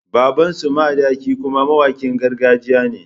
Babansu makaɗi kuma mawakin gargajiya ne.